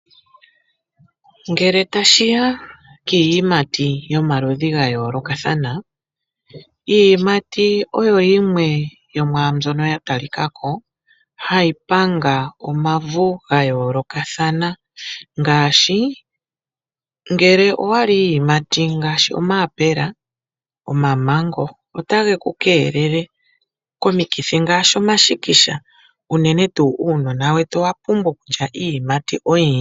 Ngele tashiya kiiyimati yomaludhi gayoolokathana. Iiyimati oyo yimwe yomwaambyoka ya talikako hayi panga omavu gayoolokathana, ngele owahala iiyimati ngashi omayaapela, omamango ota geku keelele komithi ngashi omashikisha uunene tuu uunona wetu owa pumbwa okulya iiyimati oyindji.